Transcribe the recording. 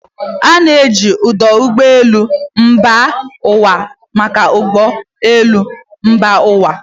A na-eji ọdụ ụgbọ elu mba ụwa maka ụgbọ elu mba ụwa.